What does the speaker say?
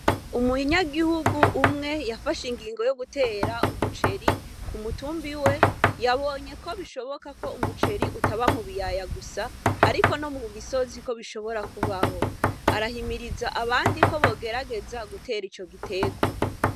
Umunyagihugu umwe yafashe ingingo yo gutera umuceri ku mutumba iwe, yabonye ko bishoboka ko umuceri utaba mu biyaya gusa, ariko no mu misozi ko bishobora kubaho. Arahimiriza abandi ko bogerageza gutera ico giterwa.